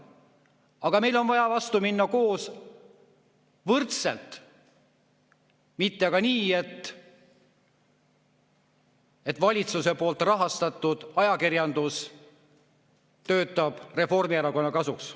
Aga meil on vaja vastu minna koos, võrdselt, mitte nii, et valitsuse poolt rahastatud ajakirjandus töötab Reformierakonna kasuks.